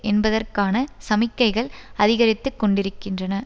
என்பதற்கான சமிக்கைகள் அதிகரித்துக்கொண்டிருக்கின்றன